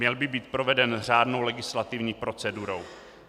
Měl by být proveden řádnou legislativní procedurou.